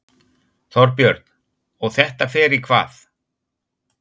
Þorbjörn: Og þetta fer í hvað?